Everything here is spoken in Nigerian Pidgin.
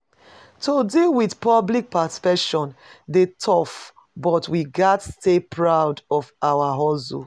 To deal with public perception dey tough, but we gats stay proud of our hustle.